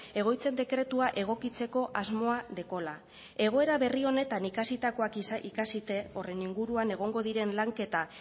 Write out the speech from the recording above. egoitzen dekretua egokitzeko asmoa dekola egoera berri honetan ikasitakoak ikasite horren inguruan egongo diren lanketa